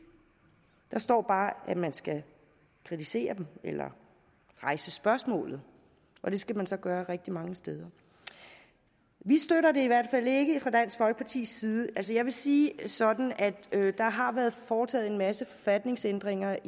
der står bare at man skal kritisere dem eller rejse spørgsmålet og det skal man så gøre rigtig mange steder vi støtter det i hvert fald ikke fra dansk folkepartis side jeg vil sige det sådan at der har været foretaget en masse forfatningsændringer